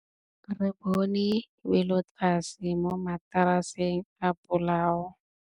Re bone wêlôtlasê mo mataraseng a bolaô.